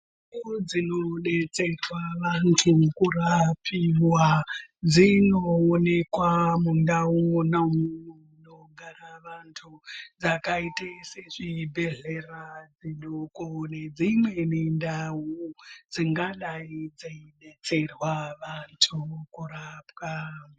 Ndau dzinodetserwa vantu kurapirwa dzinoonekwa mundau mwona umwo munogara vantu dzakaita sezvibhedhlera zvidoko nedzimweni ndau dzingadai dzeidetserwe vantu kurapwa.